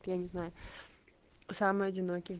я не знаю самый одиннокий